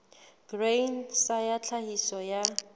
grain sa ya tlhahiso ya